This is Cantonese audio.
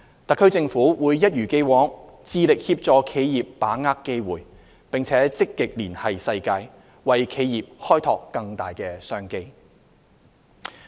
特區政府會一如既往致力協助企業把握機會，並積極連繫世界，為企業開拓更大商機。